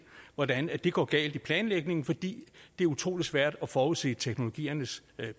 hvordan det går galt i planlægningen fordi det er utrolig svært at forudse teknologiernes